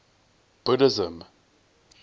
buddhism